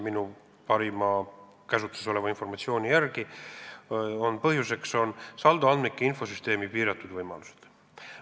Minu käsutuses oleva parima informatsiooni järgi on põhjuseks saldoandmike infosüsteemi piiratud võimalused.